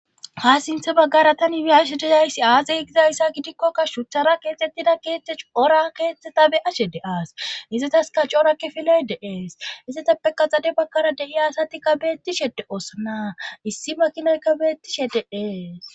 Ha sinthe baggara tani wi7ashe deyayssi aazey gizayssa gidikkokka shuthara keexxettida keexthe cora keeteta be ashe de aas izetaska coorakke filedeees issetappe kaxade bakkara deiya asatikka beettishede oosana issi makinoykka beettishe de'ees.